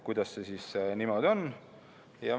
Kuidas see siis niimoodi on?